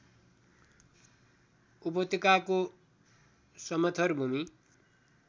उपत्यकाको समथर भूमी